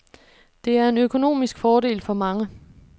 Det er en økonomisk fordel for mange.